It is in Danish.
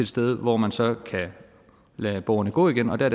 sted hvor man så kan lade borgerne gå igennem og der